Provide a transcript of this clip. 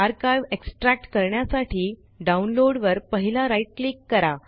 archive extract करण्यासाठी download वर पहिला राइट क्लिक करा